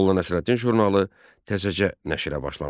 Molla Nəsrəddin jurnalı təzəcə nəşrə başlamışdı.